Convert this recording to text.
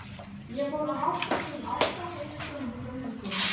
Ég fór að hátta klukkan átta, beint ofan í göngutúrana.